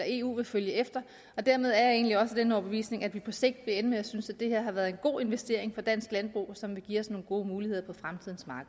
eu vil følge efter dermed er jeg egentlig også af den overbevisning at vi på sigt vil ende med at synes at det her har været en god investering for dansk landbrug som vil give os nogle gode muligheder